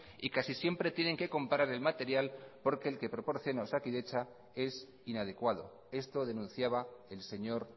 y casi siempre tienen que comprar el material porque el que proporciona osakidetza es inadecuado esto denunciaba el señor